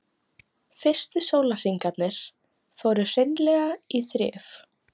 Fyrstu sólarhringarnir fóru hreinlega í þrif.